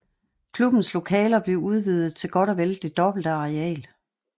Klubbens lokaler blev udvidet til godt og vel det dobbelte areal